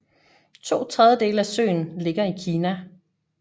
To tredjedele af søen ligger i Kina